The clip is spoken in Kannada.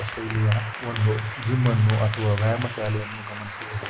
ಇದು ಶೈಲಿಯ ಒಂದು ಜಿಮ್ ಅನ್ನು ಅಥವಾ ವ್ಯಾಯಾಮ ಶಾಲೆಯನ್ನು ಗಮನಿಸಬಹುದು.